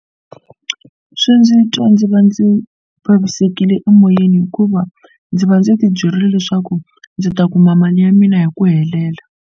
Swi ndzi twa ndzi va ndzi vavisekile emoyeni hikuva ndzi va ndzi ti byerile leswaku ndzi ta kuma mali ya mina hi ku helela.